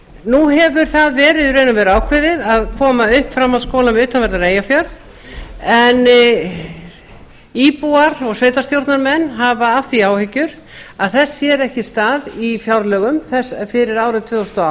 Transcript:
nú hefur það verið í raun og veru ákveðið að koma upp framhaldsskóla við utanverðan eyjafjörð en íbúar og sveitarstjórnarmenn hafa af því áhyggjur að þess sér ekki stað í fjárlögum fyrir árið tvö þúsund og